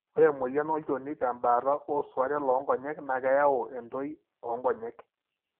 ore emoyian olchoni tembaata osuaaten loonkonyek na keyau entoi onkonyek.